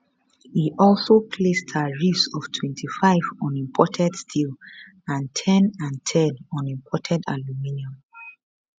e also place tariffs of 25 on imported steel and ten and ten on imported aluminium